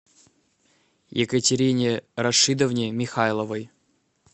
екатерине рашидовне михайловой